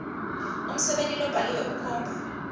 umsebenti lobhaliwe ukhomba